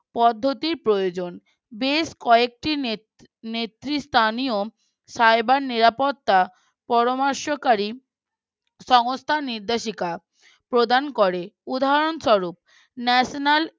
পদ্ধতির প্রয়োজন বেশ কয়েকটি নে নেত্রী স্থানীয় cyber নিরাপত্তা পরামর্শ কারী সংস্থার নির্দেশিকা প্রদান করে উদাহরণ স্বরূপ National